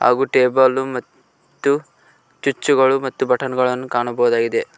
ಹಾಗೂ ಟೇಬಲ್ಲು ಮತ್ತು ಚುಚ್ಚುಗಳು ಬಟನ್ ಗಳನ್ನು ಕಾಣಬಹುದಾಗಿದೆ.